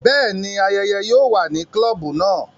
Bẹẹni, ayẹyẹ yóò wà ni klobu náà